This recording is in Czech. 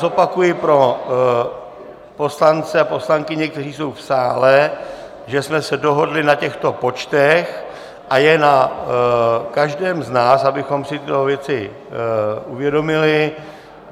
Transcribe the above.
Zopakuji pro poslance a poslankyně, kteří jsou v sále, že jsme se dohodli na těchto počtech, a je na každém z nás, abychom si tyto věci uvědomili.